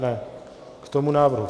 Ne, k tomu návrhu.